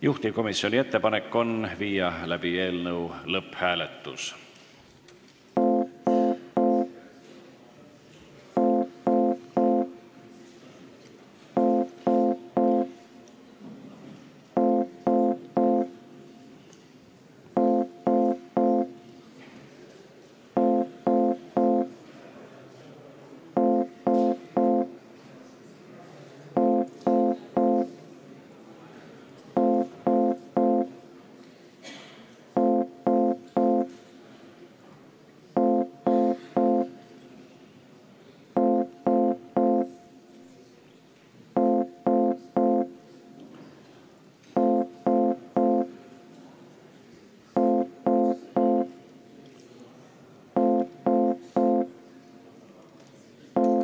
Juhtivkomisjoni ettepanek on viia läbi eelnõu lõpphääletus.